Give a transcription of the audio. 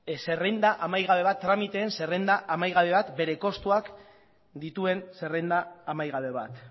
zerrenda amaigabe bat tramiteen zerrenda amaigabe bat bere kostuak dituen zerrenda amaigabe bat